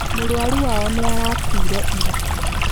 Mũrũaru wao nĩ arakuire ira.